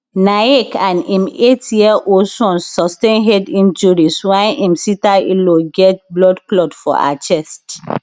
naik and im eight year old son sustain head injuries while im sister in law get blood clot for her chest